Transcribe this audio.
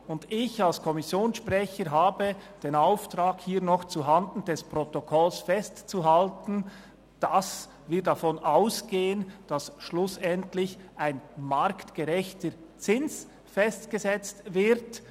Ich habe als Kommissionssprecher den Auftrag, hier noch zuhanden des Protokolls festzuhalten, dass wir davon ausgehen, dass schlussendlich ein marktgerechter Zins festgesetzt wird.